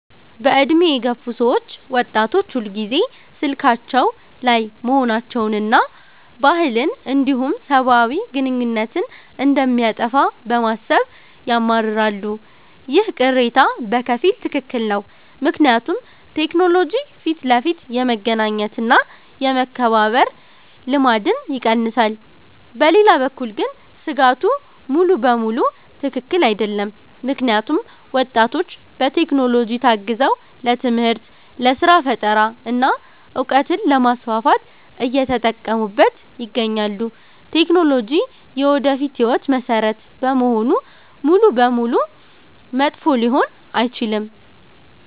በዕድሜ የገፉ ሰዎች ወጣቶች ሁልጊዜ ስልካቸው ላይ መሆናቸውንና ባህልን እንዲሁም ሰብአዊ ግንኙነትን እንደሚያጠፋ በማሰብ ያማርራሉ። ይህ ቅሬታ በከፊል ትክክል ነው፤ ምክንያቱም ቴክኖሎጂ ፊት ለፊት የመገናኘት እና የመከባበር ልማድን ይቀንሳል። በሌላ በኩል ግን ስጋቱ ሙሉ በሙሉ ትክክል አይደለም፤ ምክንያቱም ወጣቶች በቴክኖሎጂ ታግዘው ለትምህርት፣ ለስራ ፈጠራ እና እውቀትን ለማስፋፋት እየተጠቀሙበት ይገኛሉ። ቴክኖሎጂ የወደፊት ህይወት መሰረት በመሆኑ ሙሉ በሙሉ መጥፎ ሊሆን አይችልም።